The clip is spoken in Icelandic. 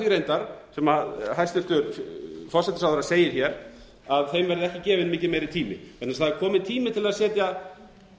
reyndar sem hæstvirtur forsætisráðherra segir hér að þeim verði ekki gefinn mikið meiri tími vegna þess að það er kominn tími til þess að setja